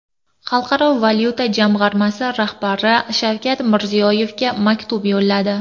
Xalqaro valyuta jamg‘armasi rahbari Shavkat Mirziyoyevga maktub yo‘lladi.